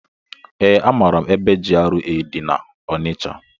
Ee, amaara ebe GRA dị na-Onicha.